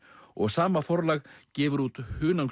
og sama forlag gefur út